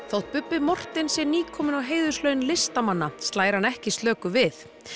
þótt Bubbi Morthens sé nýkominn á heiðurslaun listamanna slær hann ekki slöku við